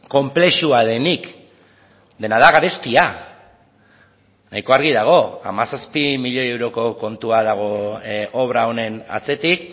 konplexua denik dena da garestia nahiko argi dago hamazazpi milioi euroko kontua dago obra honen atzetik